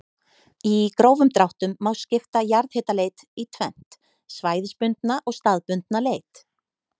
Í grófum dráttum má skipta jarðhitaleit í tvennt, svæðisbundna og staðbundna leit.